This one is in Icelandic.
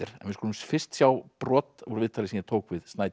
en við skulum fyrst sjá brot úr viðtali sem ég tók við